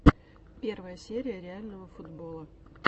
первая серия реального футбола